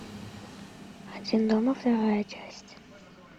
один дома вторая часть